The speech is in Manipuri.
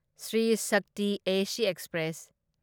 Shri Shakti AC express